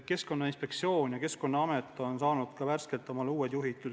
Keskkonnainspektsioon ja Keskkonnaamet on äsja saanud omale uued juhid.